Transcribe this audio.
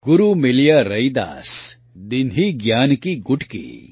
ગુરૂ મિલિયા રૈદાસ દીન્હી જ્ઞાન કી ગુટકી